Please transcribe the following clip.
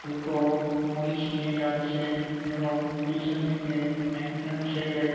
দুটো মহিষ নিয়ে যাচ্ছে এবং পিছনদিকে একজন ছেলে --